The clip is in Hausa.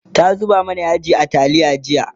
ta zuba mana yaji a taliya jiya